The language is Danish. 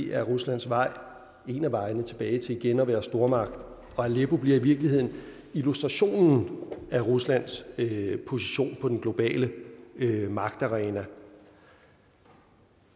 er ruslands vej en af vejene tilbage til igen at være en stormagt og aleppo bliver i virkeligheden illustrationen af ruslands position på den globale magtarena